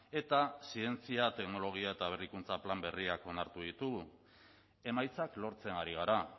eta zientzia teknologia eta berrikuntza plan berriak onartu ditugu emaitzak lortzen ari gara